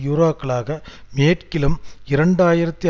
யூரோக்களாக மேற்கிலும் இரண்டு ஆயிரத்தி